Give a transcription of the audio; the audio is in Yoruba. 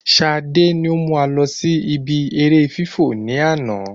Sade ni o mú wa lọ sí ìbi eré fifọ́ ni àná